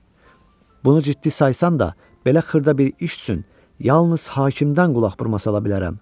Bunu ciddi saysan da, belə xırda bir iş üçün yalnız hakimdən qulaq vurmasan ala bilərəm.